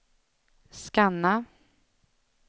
scanna